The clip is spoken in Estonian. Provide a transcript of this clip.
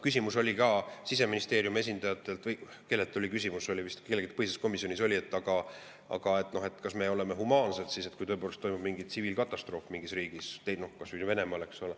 Küsimus oli ka Siseministeeriumi esindajatel või kelleltki põhiseaduskomisjonis tuli küsimus, aga kas me oleme humaansed, kui tõepoolest toimub mingi tsiviilkatastroof mingis riigis, kas või Venemaal.